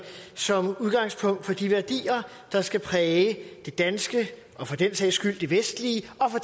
som udgangspunkt for de værdier der skal præge det danske og for den sags skyld det vestlige og for